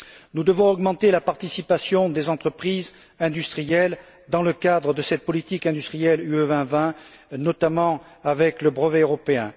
Nous devons augmenter la participation des entreprises industrielles dans le cadre de cette politique industrielle Europe 2020, notamment avec le brevet européen